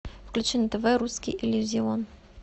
включи на тв русский иллюзион